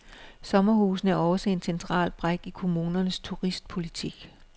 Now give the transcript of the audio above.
Sommerhusene er også en central brik i kommunernes turistpolitik.